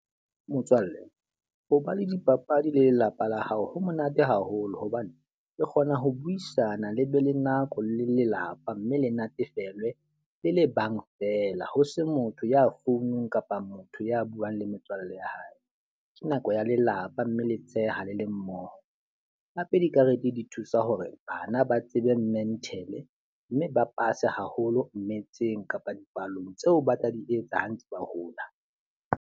Motswalle, ho ba le dipapadi le lelapa la hao, ho monate haholo hobane re kgona ho buisana le be le nako le lelapa. Mme le natefelwe le le bang fela ho se motho ya founung kapa motho ya buang le metswalle ya hae. Ke nako ya lelapa mme le tsheha le le mmoho. Hape dikarete di thusa hore bana ba tsebe mental, mme ba pase haholo metseng kapa dipalong tseo ba tla di etsa ha ntse ba hola.